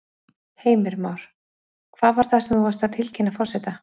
Heimir Már: Hvað var það sem þú varst að tilkynna forseta?